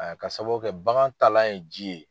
Ka sababu kɛ bagan taalan ye ji ye.